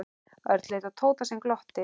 Örn leit á Tóta sem glotti.